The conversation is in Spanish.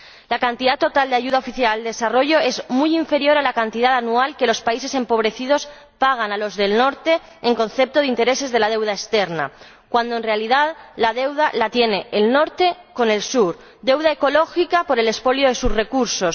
La cantidad total de ayuda oficial al desarrollo es muy inferior a la cantidad anual que los países empobrecidos pagan a los del Norte en concepto de intereses de la deuda externa, cuando, en realidad, la deuda la tiene el Norte con el Sur deuda ecológica por el expolio de sus recursos